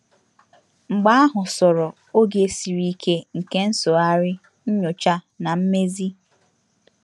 Mgbe ahụ soro oge siri ike nke nsụgharị, nyocha, na mmezi.